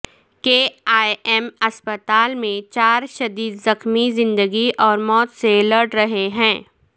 کے E M ہسپتال میں چار شدید زخمی زندگی اور موت سے لڑ رہے ہیں